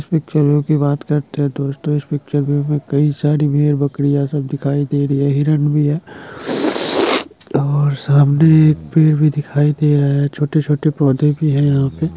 Picture view की बात करते है दोस्तों इस पिक्चर व्यू में कई सारी भेड़-बकरिया सब दिखाई दे रही है हिरन भी है और सामने एक पेड़ भी दिखाई दे रहा है छोटे-छोटे पौधे भी है यहा पे ।